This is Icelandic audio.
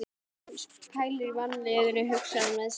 Sú pælir í mannlífinu, hugsar hann með sér.